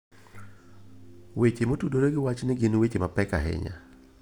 Weche motudore gi wachni gin weche mapek ahinya.